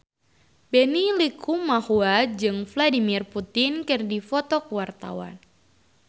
Benny Likumahua jeung Vladimir Putin keur dipoto ku wartawan